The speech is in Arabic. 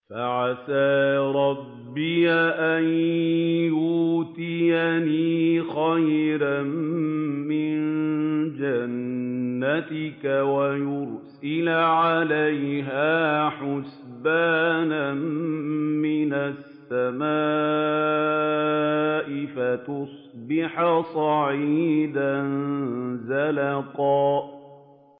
فَعَسَىٰ رَبِّي أَن يُؤْتِيَنِ خَيْرًا مِّن جَنَّتِكَ وَيُرْسِلَ عَلَيْهَا حُسْبَانًا مِّنَ السَّمَاءِ فَتُصْبِحَ صَعِيدًا زَلَقًا